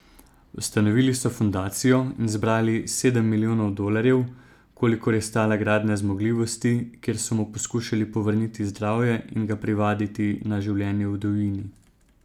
Ustanovili so fundacijo in zbrali sedem milijonov dolarjev, kolikor je stala gradnja zmogljivosti, kjer so mu poskušali povrniti zdravje in ga privaditi na življenje v divjini.